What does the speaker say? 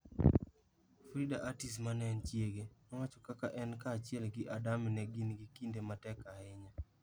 Frida Urtiz ma en chiege, nowacho kaka en kaachiel gi Adame ne gin gi kinde matek ahinya: